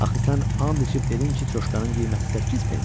Axı sən and içib dedin ki, çuşkanın qiyməti 8 pensdir.